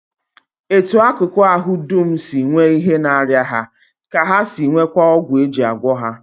Etu akụkụ ahụ dum si nwee ihe na-arịa ha ka ha si nweekwa ọgwụ e ji agwọ ha